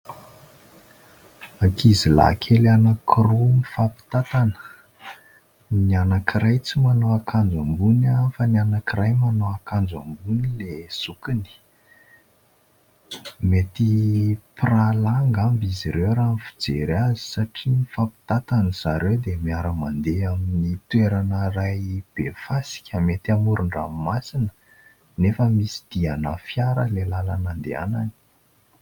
Ankizilahy kely anankiroa mifampitantana. Ny anankiray tsy manao akanjo ambony fa ny anankiray manao akanjo ambony dia zokiny. Mety mpirahalahy angamba izy ireo raha ny fijery azy satra mifampitantana raha ny fijery azy satria mifampitantana zareo dia miara-mandeha amin'ny toerana iray be fasika. Mety amoron-dranomasina nefa misy diana fiara ilay lalana andehanany.